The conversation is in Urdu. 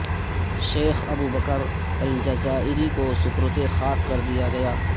شیخ ابو بکر الجزائری کو سپرد خاک کردیا گیا